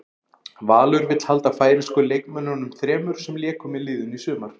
Valur vill halda færeysku leikmönnunum þremur sem léku með liðinu í sumar.